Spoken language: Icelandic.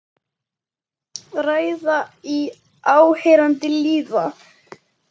Ræða í áheyrn lýða.